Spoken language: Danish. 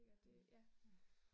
Mh mh